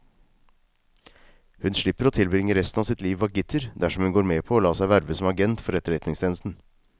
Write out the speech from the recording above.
Hun slipper å tilbringe resten av sitt liv bak gitter dersom hun går med på å la seg verve som agent for etterretningstjenesten.